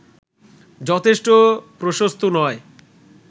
যথেষ্ট প্রশস্ত নয়